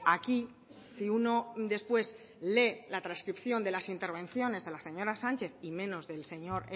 aquí si uno después lee la transcripción de las intervenciones de la señora sánchez y menos del señor